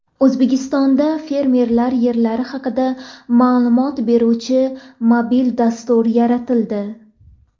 O‘zbekistonda fermerlar yerlari haqida ma’lumot beruvchi mobil dastur yaratildi.